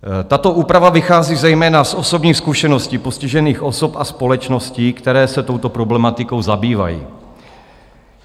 Tato úprava vychází zejména z osobních zkušeností postižených osob a společností, které se touto problematikou zabývají.